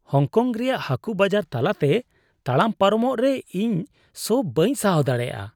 Hong Kong ᱨᱮᱭᱟᱜ ᱦᱟᱠᱩ ᱵᱟᱡᱟᱨ ᱛᱟᱞᱟᱛᱮ ᱛᱟᱲᱟᱢ ᱯᱟᱨᱚᱢᱚᱜ ᱨᱮ ᱤᱧ ᱥᱚ ᱵᱟᱹᱧ ᱥᱟᱦᱟᱣ ᱫᱟᱲᱮᱭᱟᱜᱼᱟ ᱾